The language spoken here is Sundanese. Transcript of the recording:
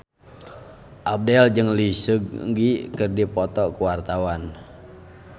Abdel jeung Lee Seung Gi keur dipoto ku wartawan